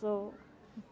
Sou.